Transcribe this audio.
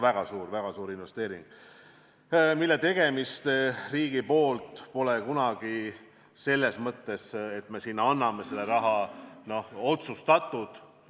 Väga suur investeering, mille tegemist riigi poolt pole kunagi selles mõttes, et me anname selle raha, otsustatud.